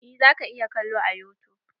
Eh zaka iya kalo a yutub.